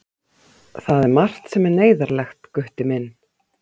Það er margt sem er neyðarlegt, Gutti minn.